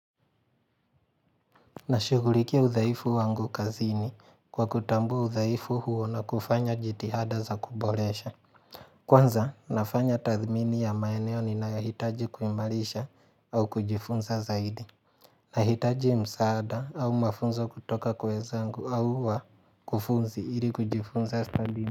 Nashugurikia udhaifu wangu kazini kwa kutambua udhaifu huo na kufanya jiti hada za kubolesha Kwanza nafanya tathmini ya maeneo ni nahitaji kuimalisha au kujifunza zaidi Nahitaji msaada au mafunzo kutoka kwa wenzangu au wa kufunzi ili kujifunza stadini.